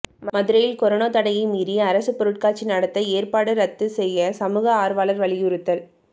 மதுரையில் கொரோனா தடையை மீறி அரசு பொருட்காட்சி நடத்த ஏற்பாடு ரத்து செய்ய சமூக ஆர்வலர்கள் வலியுறுத்தல்